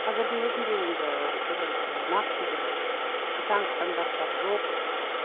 қазірдің өзінде енді бір ы нақты бір қатаң стандарттар жоқ